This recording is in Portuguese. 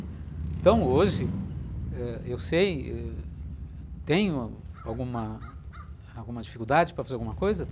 Então, hoje, ãh eu sei, tenho alguma alguma dificuldade para fazer alguma coisa?